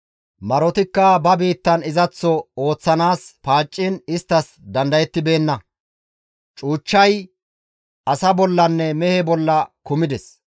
Marotikka ba bitan izaththo ooththanaas paacciin isttas dandayetibeenna. Cuuchchay asa bollanne mehe bolla kumides.